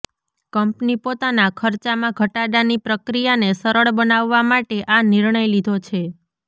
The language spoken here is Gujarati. કંપની પોતાના ખર્ચામાં ઘટાડાની પ્રક્રિયાને સરળ બનાવવા માટે આ નિર્ણય લીધો છે